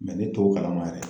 ne t'o kalama yɛrɛ